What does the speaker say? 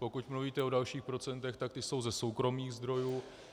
Pokud mluvíte o dalších procentech, tak ta jsou ze soukromých zdrojů.